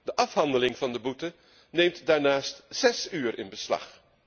De afhandeling van de boete neemt daarnaast zes uur in beslag.